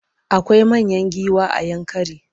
Akwai manyan giwa a Yankari.